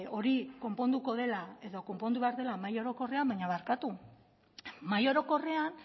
hori konponduko dela edo konpondu behar dela mahai orokorrean baina barkatu mahai orokorrean